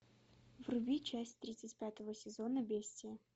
вруби часть тридцать пятого сезона бестия